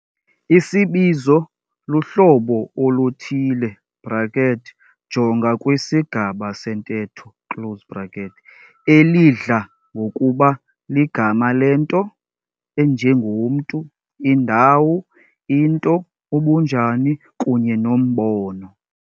Isibizo luhlobo oluthile, jonga kwisigaba sentetho, elidla ngokuba ligama lento enjengomntu, indawo, into, ubunjani, kunye nombono.